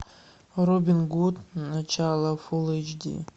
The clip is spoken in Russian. робин гуд начало фул эйч ди